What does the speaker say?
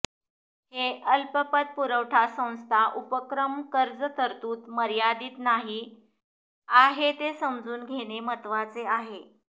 हे अल्पपतपुरवठा संस्था उपक्रम कर्ज तरतूद मर्यादित नाही आहे ते समजून घेणे महत्वाचे आहे